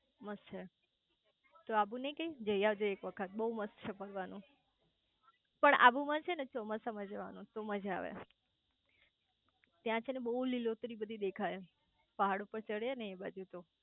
મસ્ત છે તું આબુ નઈ ગઈ જય આવજે એક વખત બઉ મસ્ત છે ફરવાનું પણ આબુ માં છે ને ચોમાસા માં જવાનું તો માંજ આવે ત્યાં છે ને બઉ લીલોતરી બધી દેખાય પહાડો પર ચડીયે ને એ બાજુ તો